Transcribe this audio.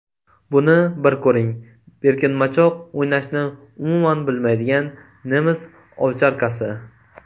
Buni bir ko‘ring: Berkinmachoq o‘ynashni umuman bilmaydigan nemis ovcharkasi.